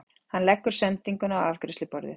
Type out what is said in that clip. Hann leggur sendinguna á afgreiðsluborðið.